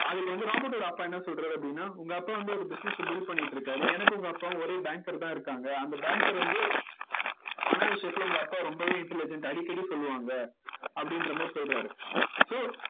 அதுல வந்து ராபர்ட் அப்பா என்ன சொல்றாரு அப்படின்னா உங்க அப்பா வந்து ஒரு business அ build பண்ணிட்டு இருக்காரு எனக்கும் உங்க அப்பாவும் ஒரே banker தான் இருக்காங்க அந்த banker வந்து பண விஷயத்துல உங்க அப்பா ரொம்பவே intelligent அடிக்கடி சொல்லுவாங்க அப்படின்ற மாதிரி சொல்றாரு so